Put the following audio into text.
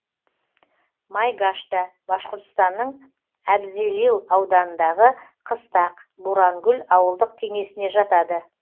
майгашта башқұртстанның әбзелил ауданындағы қыстақ бурангүл ауылдық кеңесіне жатады